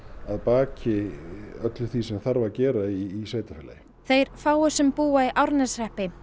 að baki öllu því sem þarf að gera í sveitarfélagi þeir fáu sem búa í Árneshreppi